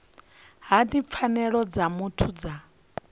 hani pfanelo dza muthu dza